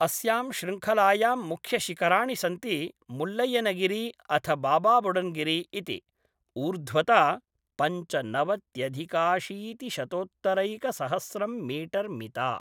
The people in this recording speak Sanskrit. अस्यां शृङ्खलायां मुख्यशिखराणि सन्ति मुळ्ळय्यनगिरि अथ बाबा बुडाङ्गिरी इति, ऊर्ध्वता पञ्चनवत्यधिकाशीतिशतोत्तरैकसहस्रं मीटर् मिता।